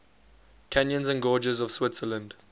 canyons and gorges of switzerland